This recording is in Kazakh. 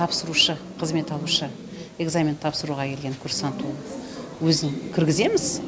тапсырушы қызмет алушы экзамен тапсыруға келген курсант ол өзін кіргіземіз